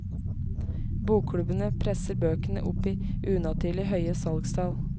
Bokklubbene presser bøkene opp i unaturlig høye salgstall.